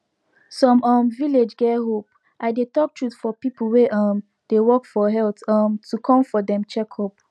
some um village get hope i dey talk truth for people wey um dey work for health um to come for dem checkup